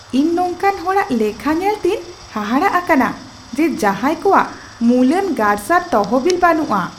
ᱤᱧ ᱱᱚᱝᱠᱟᱱ ᱦᱚᱲᱟᱜ ᱞᱮᱠᱷᱟ ᱧᱮᱞᱛᱮᱧ ᱦᱟᱦᱟᱲᱟᱜ ᱟᱠᱟᱱᱟ ᱡᱮ ᱡᱟᱦᱟᱸᱭ ᱠᱚᱣᱟᱜ ᱢᱩᱞᱟᱱ ᱜᱟᱨᱥᱟᱨ ᱛᱚᱦᱚᱵᱤᱞ ᱵᱟᱹᱱᱩᱜᱼᱟ ᱾